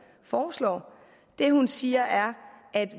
foreslår det hun siger er at